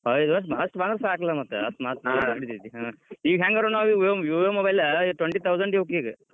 ಐದ್ ವರ್ಷ್ ಅಷ್ಟ ಬಂದ್ರ್ ಸಾಕಲಾ ಮತ್ ಈಗ ಹೆಂಗಾದ್ರೂ ನಾವೀಗ Vivo mobile twenty thousand ಇವ್ಕ್ ಈಗ .